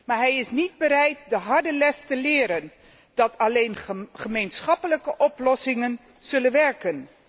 Maar hij is niet bereid de harde les te leren dat alleen gemeenschappelijke oplossingen zullen werken.